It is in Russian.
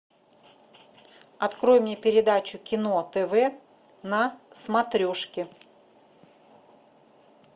открой мне передачу кино тв на смотрешке